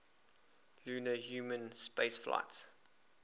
lunar human spaceflights